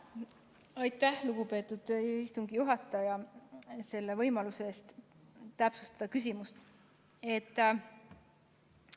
Aitäh, lugupeetud istungi juhataja, võimaluse eest täpsustada küsimust!